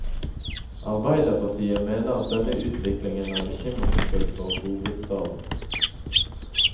Arbeiderpartiet mener at denne utviklingen er bekymringsfull for hovedstaden.